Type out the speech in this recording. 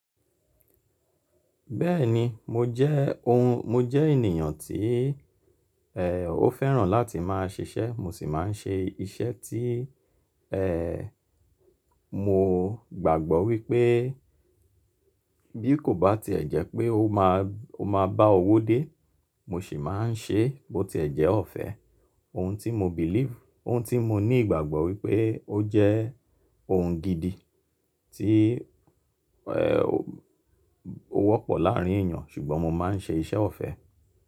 Bẹ́ẹ̀ni mo jẹ́ ohun, mo jẹ́ ènìyàn tí, ẹ́, ó fẹ́ràn láti máa ṣiṣẹ́. Mo sì máa ń ṣe iṣẹ́ tí, ẹ́, mo gbàgbọ́ wípé bí kò bá ti ẹ̀ jẹ́ pé ó máa, ó máa bá owó dé, mo sì máa ń ṣe bó ti ẹ̀ jẹ́ ọ̀fẹ́. Ohun tí mo believe, ohun tí mo ní ìgbàgbọ́ wípé ó jẹ́ ohun gidi tí, ẹ́, ó wọ́pọ̀ láàrín èèyàn ṣùgbọ́n mo máa ń ṣe iṣẹ́ ọ̀fẹ́.